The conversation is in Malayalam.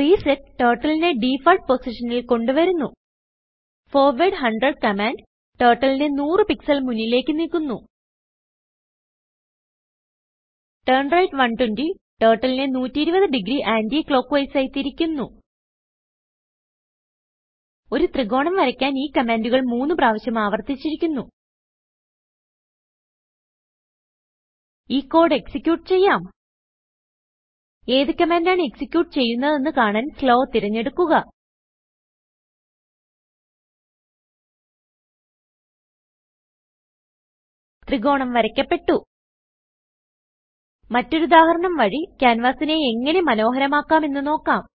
റിസെറ്റ് Turtleനെ ഡിഫാൾട്ട് പൊസിഷനിൽ കൊണ്ട് വരുന്നു ഫോർവാർഡ് 100 കമാൻഡ് Turtleനെ 100 pixelമുന്നിലേക്ക് നീക്കുന്നു ടർണ്രൈറ്റ് 120 Turtleനെ 120 ഡിഗ്രി anti ക്ലോക്ക്വൈസ് ആയി തിരിക്കുന്നു ഒരു ത്രികോണം വരയ്ക്കാൻ ഈ കമാൻഡുകൾ മൂന്ന് പ്രാവിശ്യം ആവർത്തിച്ചിരിക്കുന്നു ഈ കോഡ് എക്സിക്യൂട്ട് ചെയ്യാം ഏത് കമാൻഡ് ആണ് എക്സിക്യൂട്ട് ചെയ്യുന്നതെന്ന് കാണാൻ slowതിരഞ്ഞെടുക്കുന്നു ത്രികോണം വരയ്ക്കപ്പെട്ടു മറ്റൊരു ഉദാഹരണം വഴി ക്യാൻവാസിനെ എങ്ങനെ മനോഹരമാക്കാം എന്ന് നോക്കാം